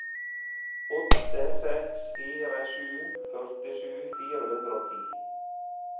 åtte seks fire sju førtisju fire hundre og ti